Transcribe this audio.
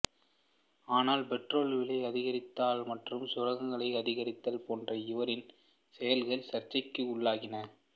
ஆனால் பெட்ரோல் விலை அதிகரித்தல்மற்றும் சுரங்கங்களை அதிகரித்தல் போன்ற இவரின் செயல்கள் சர்ச்சைக்கு உள்ளாகின